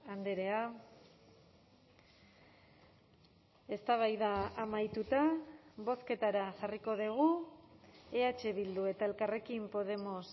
andrea eztabaida amaituta bozketara jarriko dugu eh bildu eta elkarrekin podemos